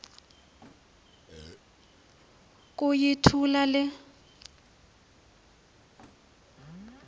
uku yithula le